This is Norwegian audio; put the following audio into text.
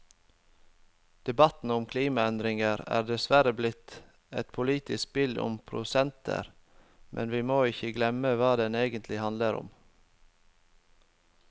Debatten om klimaendringer er dessverre blitt et politisk spill om prosenter, men vi må ikke glemme hva det egentlig handler om.